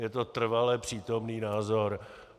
Je to trvale přítomný názor.